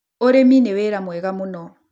Urĩmi ni wĩra mwega mũno